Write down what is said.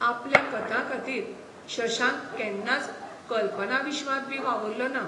आपल्या कथांखातीर शशांक केन्नाच कल्पनाविश्वांतबी वावुरलोना.